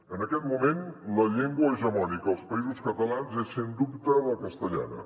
en aquest moment la llengua hegemònica als països catalans és sens dubte la castellana